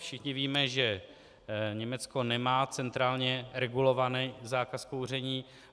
Všichni víme, že Německo nemá centrálně regulovaný zákaz kouření.